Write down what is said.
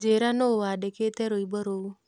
njĩĩra nũ wandĩkĩte rwĩmbo rũũ